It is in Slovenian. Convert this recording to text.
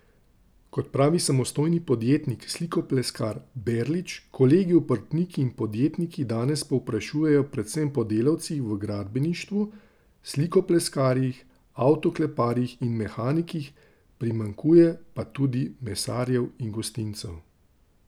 Kot pravi samostojni podjetnik slikopleskar Berlič, kolegi obrtniki in podjetniki danes povprašujejo predvsem po delavcih v gradbeništvu, slikopleskarjih, avtokleparjih in mehanikih, primanjkuje pa tudi mesarjev in gostincev.